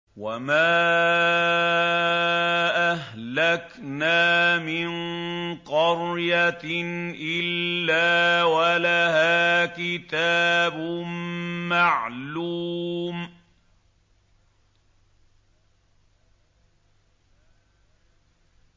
وَمَا أَهْلَكْنَا مِن قَرْيَةٍ إِلَّا وَلَهَا كِتَابٌ مَّعْلُومٌ